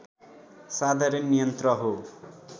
साधारण यन्त्र हो